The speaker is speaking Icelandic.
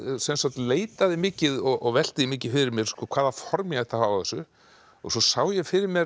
leitaði mikið og velti mikið fyrir mér hvaða form ég ætti að hafa á þessu og svo sá ég fyrir mér